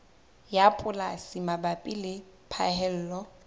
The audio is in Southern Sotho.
ya polasi mabapi le phaello